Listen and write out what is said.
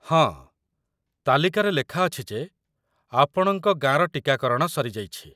ହଁ, ତାଲିକାରେ ଲେଖାଅଛି ଯେ ଆପଣଙ୍କ ଗାଁର ଟିକାକରଣ ସରିଯାଇଛି।